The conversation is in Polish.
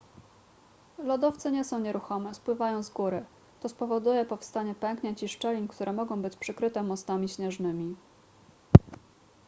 lodowce nie są nieruchome spływają z góry to spowoduje powstanie pęknięć i szczelin które mogą być przykryte mostami śnieżnymi